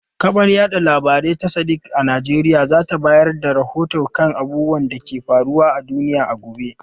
Kafar yada labarai ta Sadiq a Najeriya za ta bayar da rahoto kan abubuwan da ke faruwa a duniya a gobe.